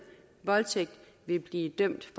voldtægt vil blive dømt